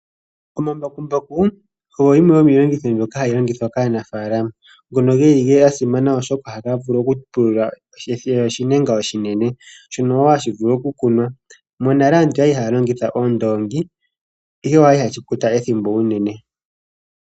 Omambakumbaku ogo gamwe gomiilongitho mbyoka hayi longithwa kaanafaalama, ngono geli ga simana oshoka ohaga vulu pulula oshilwa oshinene, shono wo hashi vulu okukunwa. Monale aantu oyali haya longitha oondoongi, ihe oshali hashi kwata ethimbo unene.